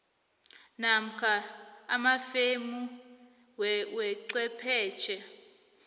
namkha amafemu wechwephetjhe